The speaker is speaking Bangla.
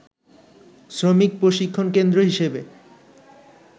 শ্রমিক প্রশিক্ষণ কেন্দ্র হিসেবে